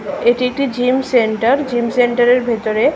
এটি একটি gym centre gym centre -এর ভেতরে।